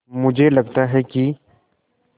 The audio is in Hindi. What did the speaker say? मुझे लगता है कि